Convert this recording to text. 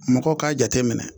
Mɔgɔw k'a jateminɛ